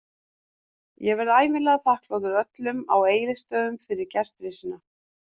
Ég verð ævinlega þakklátur öllum á Egilsstöðum fyrir gestrisnina.